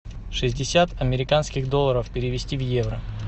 шестьдесят американских долларов перевести в евро